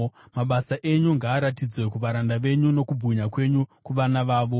Mabasa enyu ngaaratidzwe kuvaranda venyu, nokubwinya kwenyu kuvana vavo.